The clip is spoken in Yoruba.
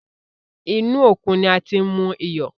Inú òkun ni a ti ń mú iyọ̀.